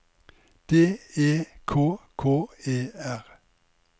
D E K K E R